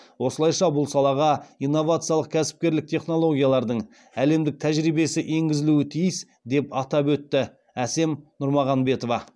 осылайша бұл салаға инновациялық кәсіпкерлік технологиялардың әлемдік тәжірибесі енгізілуі тиіс деп атап өтті әсем нұрмағанбетова